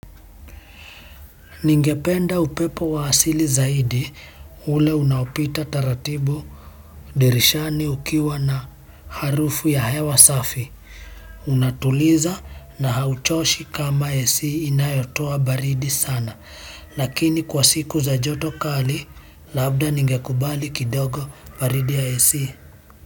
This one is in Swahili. Ningependa upepo wa asili zaidi ule unaopita taratibu dirishani ukiwa na harufu ya hewa safi. Unatuliza na hauchoshi kama AC inayotoa baridi sana. Lakini kwa siku za joto kali, labda ningekubali kidogo baridi ya AC.